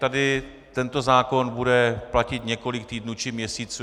Tady tento zákon bude platit několik týdnů či měsíců.